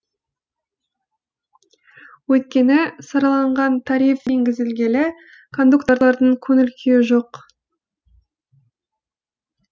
өйткені сараланған тариф енгізілгелі кондукторлардың көңіл күйі жоқ